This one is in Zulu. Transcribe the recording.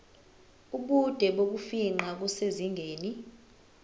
ubude bokufingqa kusezingeni